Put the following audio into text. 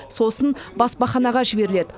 сосын баспаханаға жіберіледі